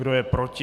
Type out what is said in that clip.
Kdo je proti?